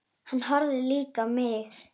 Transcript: Hann horfði líka á mig.